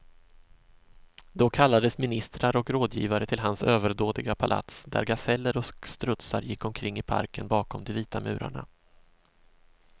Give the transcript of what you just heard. Då kallades ministrar och rådgivare till hans överdådiga palats, där gaseller och strutsar gick omkring i parken bakom de vita murarna.